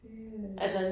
Det øh